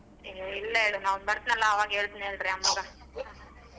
ಏ ಇಲ್ಲ ಹೇಳ್ ನಾ ಒಮ್ಮೆ ಬರ್ತಿನಾಲ ಅವಾಗ ಹೇಳ್ತೆನೆಳ್ರಿ ಅಮ್ಮಗ.